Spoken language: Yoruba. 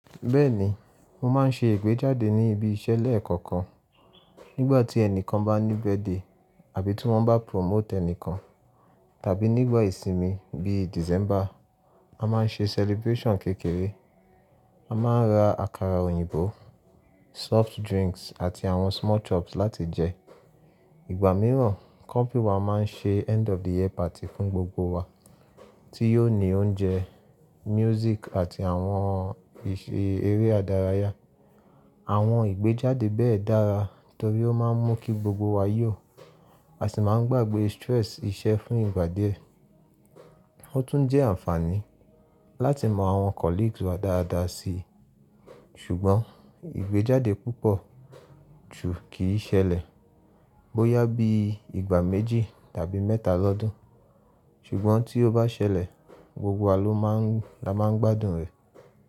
Bẹ́ẹ̀ni, mo máa ń ṣe ìgbéjáde ní ibi iṣẹ́ lẹ́ẹ̀kọ̀kan. Nígbà tí ẹnìkan bá ní birthday àbí tí wọ́n bá promote ẹnìkan, tàbí nígbà ìsinmi bíi December, a máa ń ṣe celebration kékeré. A máa ń ra àkàrà òyìnbó, soft drinks àti àwọn small chops láti jẹ. Ìgbà mìíràn, company wa máa ń ṣe end of the year party fún gbogbo wa tí yóò ní oúnjẹ, music àti àwọn eré ìdárayá. Àwọn ìgbéjáde bẹ́ẹ̀ dára torí ó máa ń mú kí gbogbo wa yó àsi máa ń gbàgbé stress iṣẹ́ fún ìgbà díẹ̀. Ó tún jẹ́ àǹfààní láti mọ àwọn colleagues wa dáadáa si. Ṣùgbọ́n ìgbéjáde púpọ̀ jù kì í ṣẹlẹ̀ bó yá bí ìgbà méjì tàbí mẹ́ta lọ́dún. Ṣùgbọ́n tí ó bá ṣẹlẹ̀, gbogbo wa ló máa ń gbadùn rẹ̀.